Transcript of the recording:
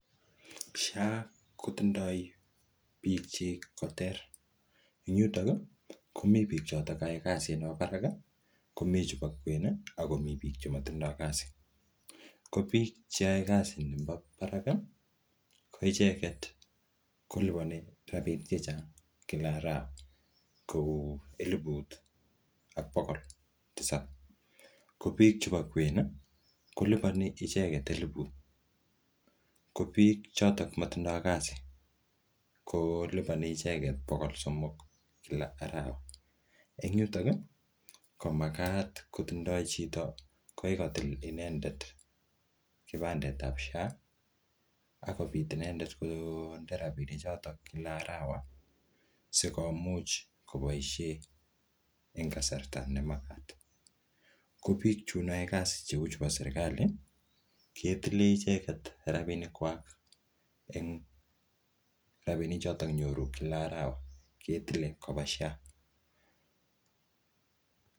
SHA kotindoi biik chik ko ter. Eng yutok, komii biik chotok ae kasit nebo barak, komii chebo kwen, ako mii biik chemotindoi kasi. Ko biik che ae kasi nebo barak, ko icheket kolipani rabinik chechang' kila arawa. Kouu eleput ak bogol tisap. Ko biik chebo kwen, kolipani icheket eleput. Ko biik chotok matindoi kasi, kolipani icheket bogol somok kila arawa. Eng yutok, ko makat kotindoi chito kokikotil inendet kipandet ap SHA, akobit inendet konde rabinik chotok kila arawa, sikomuch koboisie eng kasarta ne magat. Ko biiik chun ae kasi cheu chebo serikali, ketile icheket rabinik kwak eng rabinik chotok nyoru kila arawa, ketile koba SHA